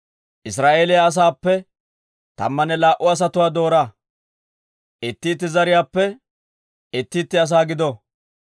«Israa'eeliyaa asaappe tammanne laa"u asatuwaa doora; itti itti zariyaappe itti itti asaa gido.